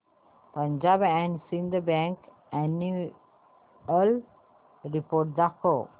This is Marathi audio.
Punjab and Sindh bank annual report दाखव